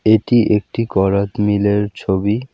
এটি একটি করাত মিলের ছবি।